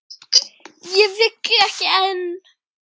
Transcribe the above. Og vill ekki enn.